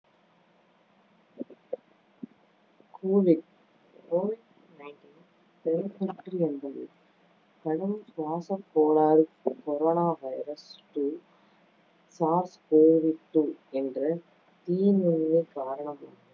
covid covid nineteen பெருந்தொற்று என்பது கடும் சுவாசக் கோளாறு corona virus two SARS covid two என்ற தீநுண்மி காரணமாக